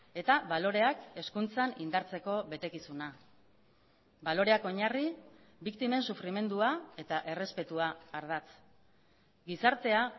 eta baloreak hezkuntzan indartzeko betekizuna baloreak oinarri biktimen sufrimendua eta errespetua ardatz gizartea